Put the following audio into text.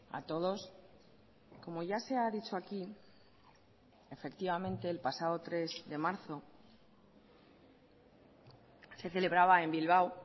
a todos como ya se ha dicho aquí efectivamente el pasado tres de marzo se celebraba en bilbao